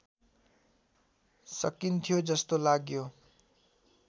सकिन्थ्यो जस्तो लाग्यो